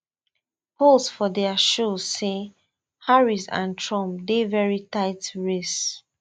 polls for dia show say harris and trump dey very tight race